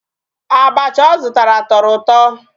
Abachi ọ zụtara tọrọ ụtọ.